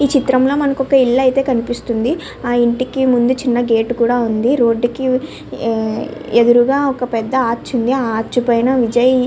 ఈ చిత్రం లో మనకు ఒక ఇల్లు అయితే కనిపిస్తుంది ఆ ఇంటికి ముందు చిన్న గేట్ కూడా ఉంది. రోడ్ కి ఎదురుగా ఒక పెద్ద ఆర్చ్ ఉంది ఆ ఆర్చ్ పైన విజయ్ --